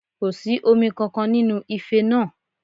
Kò sí omi kankan nínú ife náà